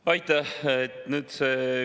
Aitäh!